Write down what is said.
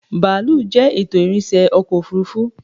Bàálù jẹ́ ètò ìrìnsẹ́ ọkọ̀ òfuurufú